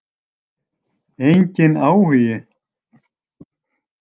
Enginn áhugi.